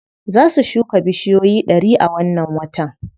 Za su shuka bushiyoyi ɗari a wannan watan.